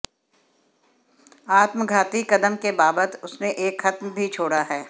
आत्मघाती कदम के बाबत उसने एक खत भी छोड़ा है